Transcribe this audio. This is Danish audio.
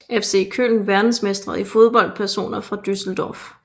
FC Köln Verdensmestre i fodbold Personer fra Düsseldorf